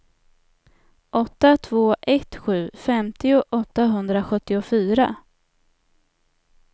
åtta två ett sju femtio åttahundrasjuttiofyra